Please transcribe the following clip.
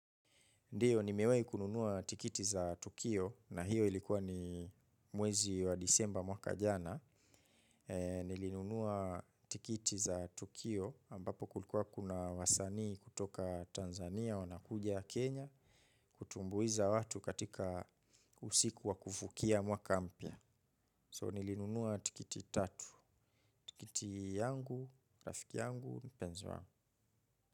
Ndio nimewai kununua tikiti za tukio na hiyo ilikuwa ni mwezi wa disemba mwaka jana. Nilinunua tikiti za tukio ambapo kulikuwa kuna wasanii kutoka Tanzania, wanakuja Kenya, kutumbuiza watu katika usiku wa kuvukia mwaka mpya. So nilinunua tikiti tatu, tikiti yangu, rafiki yangu, mpenzi wangu.